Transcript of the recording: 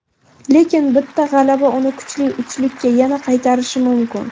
Lekin bitta g‘alaba uni kuchli uchlikka yana qaytarishi mumkin.